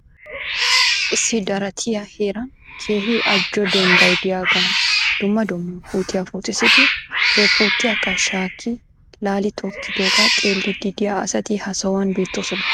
Issi daratiya heeraani keehi aajo dembbay diyagan dumma dumma puutiya puutissidi he puutiyakka shaakki laali tokkiidooga xeelliiddi diya asati ha sohuwan beettoosona.